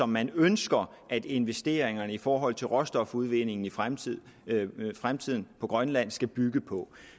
man ønsker at investeringerne i forhold til råstofudvindingen i fremtiden fremtiden i grønland skal bygge på